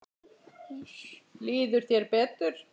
Líður þér betur?